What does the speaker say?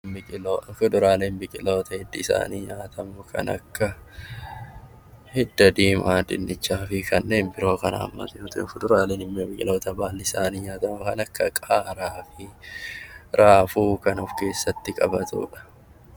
Biqiloota kuduraaleen biqiloota hiddi isaanii nyaataamu kan akka hundee diimaa, dinnicha fi kanneen birooti, biqiloota muduraaleen immoo biqiloota baalli isaanii nyaatami kan akka qaaraa fi rafuu kan of keessatti qabatudha.